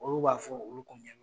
Olu b'a fɔ olu